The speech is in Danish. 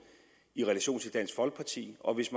i relation til dansk folkeparti og hvis